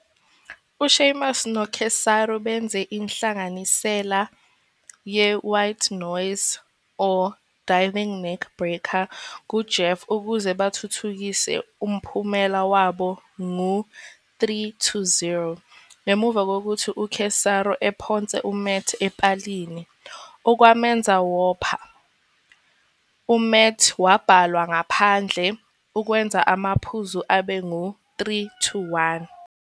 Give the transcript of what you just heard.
U-Sheamus no-Cesaro benze inhlanganisela ye-"White Noise - Diving Neckbreaker" ku-Jeff ukuze bathuthukise umphumela waba ngu-2-0. Ngemuva kokuthi uCesaro ephonse uMat epalini, okwamenza wopha, uMatt wabalwa ngaphandle, okwenza amaphuzu abe ngu-3-1.